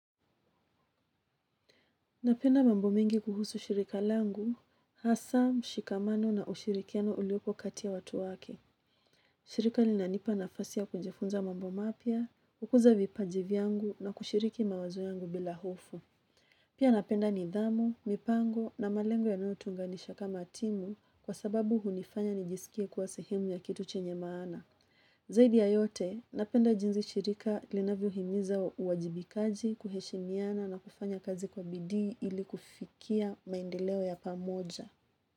Napenda mambo mingi kuhusu shirika langu, hasa, mshikamano na ushirikiano uliopo kati ya watu wake. Shirika linanipa nafasi ya kujifunza mambo mapya, kukuza vipaji vyangu na kushiriki mawazo yangu bila hofu. Pia napenda nidhamu, mipango na malengo yanayotuunganisha kama timu kwasababu hunifanya nijisikie sehemu ya kitu chenye maana zaidi ya yote, napenda jinzi shirika linavyohimiza uwajibikaji, kuheshimiana na kufanya kazi kwa bidii ili kufikia maendeleo ya pamoja.